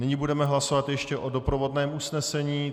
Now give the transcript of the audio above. Nyní budeme hlasovat ještě o doprovodném usnesení.